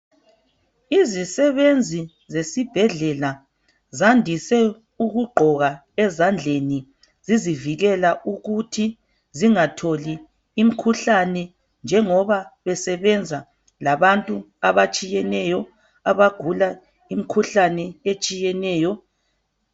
izisebenzi zesibhedlela zandise ukugqoka ezandleni zizivikela ukuthi zingatholi imikhuhlane njengoba besebenza labantu abatshiyeneyo abagula imikhuhlane etshiyeneyo.